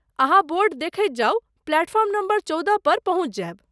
अहाँ बोर्ड देखैत जाउ, प्लेटफॉर्म नम्बर चौदह पर पहुँचि जायब।